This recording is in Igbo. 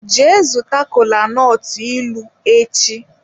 Jee zuta kolanut ilu echi!